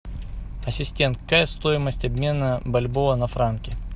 ассистент какая стоимость обмена бальбоа на франки